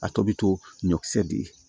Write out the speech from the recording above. A tɔ bɛ to ɲɔkisɛ di